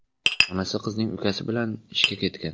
Onasi qizning ukasi bilan ishga ketgan.